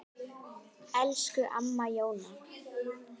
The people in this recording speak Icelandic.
Það geti verið mikil búbót.